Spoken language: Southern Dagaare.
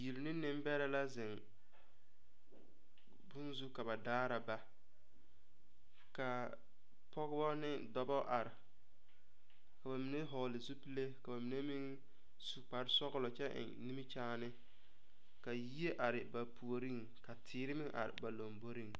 Bibiiri ne nembɛrɛ la zeŋ bonne zu ka ba daara ba kaa pɔgeba ne dɔba are ka ba mine vɔgle zupile ka ba mine meŋ su kparesɔglɔ kyɛ eŋ nimikyaane ka yie are ba puoriŋ ka teere meŋ are ba lomboreŋ.